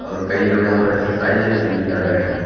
और कई लोग यहां पर एक्सरसाइज या जिम भी कर रहे हैं।